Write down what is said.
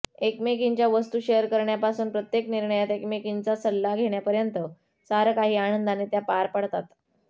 एकमेकींच्या वस्तू शेअर करण्यापासून प्रत्येक निर्णयात एकमेकींचा सल्ला घेण्यापर्यंत सारं काही आनंदाने त्या पार पाडतात